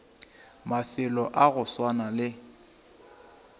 mafelo a go swana le